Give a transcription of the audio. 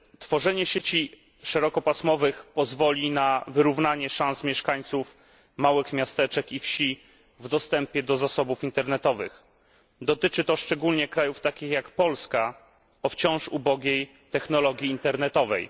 Tworzenie sieci szerokopasmowych pozwoli na wyrównanie szans mieszkańców małych miasteczek i wsi w dostępie do zasobów internetowych. Dotyczy to szczególnie krajów takich jak Polska o wciąż ubogiej technologii internetowej.